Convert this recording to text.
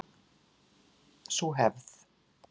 Sú hefð